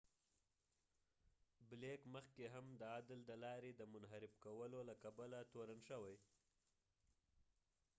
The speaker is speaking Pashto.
بلیک مخکی هم د عدل د لارې د منحرف کولو له کبله تورن شوی